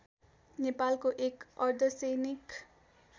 नेपालको एक अर्धसैनिक